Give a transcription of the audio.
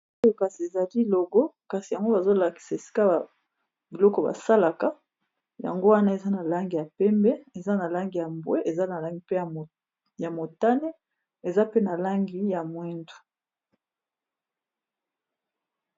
Oyo ezali kasi logo Kasi yango bazolakisa esika ba eloko basalaka yango Wana eza na langi ya pembe eza na langi ya mbwe langi ya motane eza pe na langi ya moyindo